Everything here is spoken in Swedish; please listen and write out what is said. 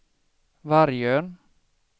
Vargön